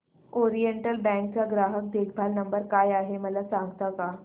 oriental bank चा ग्राहक देखभाल नंबर काय आहे मला सांगता का